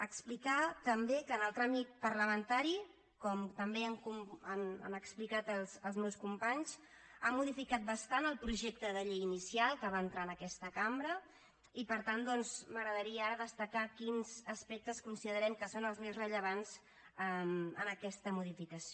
explicar també que en el tràmit parlamentari com també han explicat els meus companys han modificat bastant el projecte de llei inicial que va entrar en aquesta cambra i per tant doncs m’agradaria ara destacar quins aspectes considerem que són els més rellevants en aquesta modificació